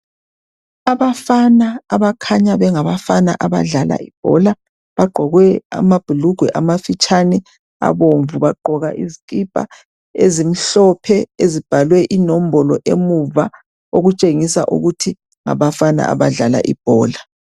Abafana abakhanya bengabafana abadlala ibhola bagqoke amabhulugwe amafitshane abomvu, bagqoka izikipa ezimhlophe ezibhalwe inombolo emuva okutshengisa ukuthi ngabafana abadlala ibhola.